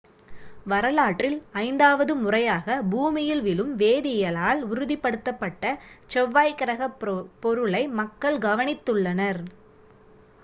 வரலாற்றில் ஐந்தாவது முறையாக பூமியில் விழும் வேதியியலால் உறுதிப்படுத்தப்பட்ட செவ்வாய் கிரகப் பொருளை மக்கள் கவனித்துள்ளனர்